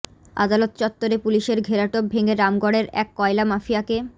আদালত চত্বরে পুলিশের ঘোরাটোপ ভেঙে রামগড়ের এক কয়লা মাফিয়াকে